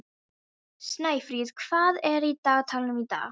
Snæfríð, hvað er á dagatalinu í dag?